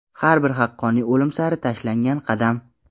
Har bir haqqoniyat o‘lim sari tashlangan qadam.